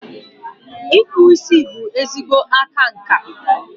Ịkpụ isi bụ ezigbo aka nka.